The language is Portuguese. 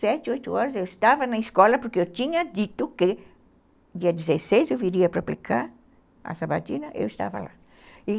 Sete, oito horas eu estava na escola porque eu tinha dito que dia dezesseis eu viria para aplicar a sabatina, eu estava lá.